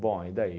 Bom, e daí?